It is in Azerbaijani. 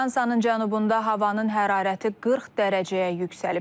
Fransanın cənubunda havanın hərarəti 40 dərəcəyə yüksəlib.